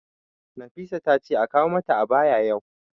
Nafisa ta ce a kawo mata ayaba yau.